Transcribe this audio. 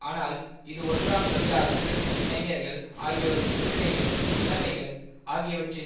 ஆனால் இது ஒன்றாம் தொழிலாளர்கள் இளைஞர்கள் ஆகியோரின் உரிமைகள் நிலைமைகள் ஆகியவற்றின்